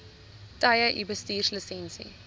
tye u bestuurslisensie